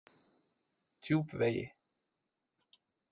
Djúpvegi